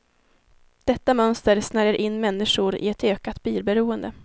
Detta mönster snärjer in människor i ett ökat bilberoende.